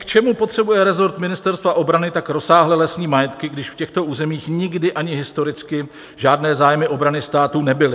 K čemu potřebuje resort Ministerstva obrany tak rozsáhlé lesní majetky, když v těchto územích nikdy ani historicky žádné zájmy obrany státu nebyly?